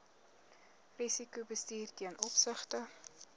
risikobestuur ten opsigte